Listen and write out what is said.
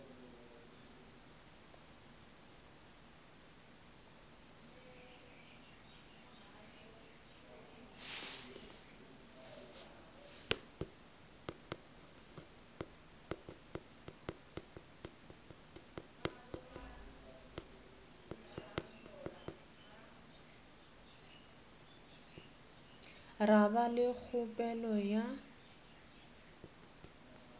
ra ba le kgopelo ya